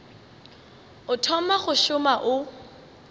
o thoma go šoma o